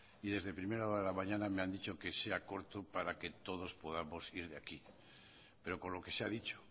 y desde primera hora de la mañana me han dicho que sea corto para que todos podamos ir de aquí pero con lo que se ha dicho